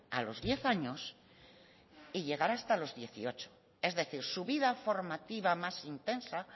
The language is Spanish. a los diez años y llegar hasta los dieciocho es decir su vida formativa más intensa